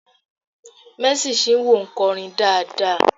"Mercy Chinwo" nkorin dáadáa